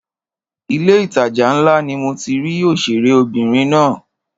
Ilé ìtajà ńlá ni mo ti rí òṣèré obìnrin náà.